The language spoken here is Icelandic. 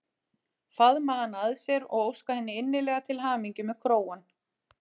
Faðma hana að sér og óska henni innilega til hamingju með krógann.